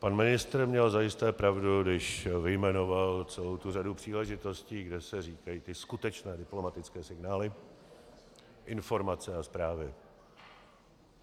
Pan ministr měl zajisté pravdu, když vyjmenoval celou tu řadu příležitostí, kde se říkají ty skutečné diplomatické signály, informace a zprávy.